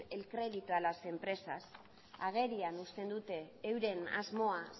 el crédito a las empresas agerian uzten dute euren asmoa